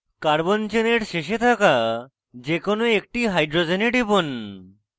carbon চেনের শেষে থাকা যে কোনো একটি hydrogens টিপুন